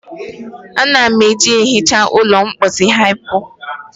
Ana m eji ehicha ụlọ mposi hypo.